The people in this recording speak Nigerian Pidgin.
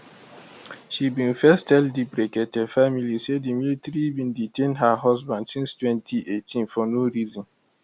she bin first tell di brekete family say di military bin detain her husband since 2018 for no reason